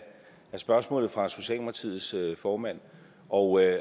spørgsmålet fra socialdemokratiets formand og jeg